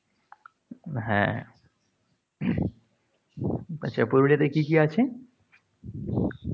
হ্যাঁ, আচ্ছা, পুরুলিয়াতে কী কী আছে?